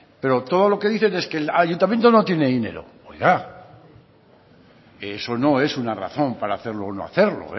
pero todo lo que dicen es que el ayuntamiento no tiene dinero oiga eso no es una razón para hacerlo o no hacerlo